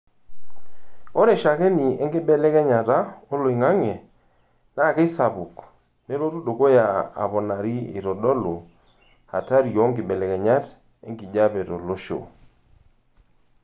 Ore shakeni enkibelekenyata oloingange naa keisapuk neloito dukuya aponari eitodolu atahri oo nkibelekenyat enkijiepe tolosho.